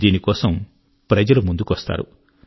దీనికోసం ప్రజలు ముందుకొస్తారు